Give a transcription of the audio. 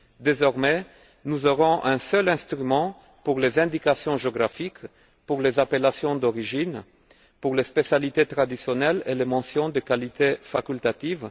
Désormais, nous aurons un seul instrument pour les indications géographiques, pour les appellations d'origine, pour les spécialités traditionnelles et pour les mentions de qualité facultatives.